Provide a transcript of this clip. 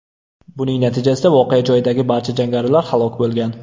Buning natijasida voqea joyidagi barcha jangarilar halok bo‘lgan.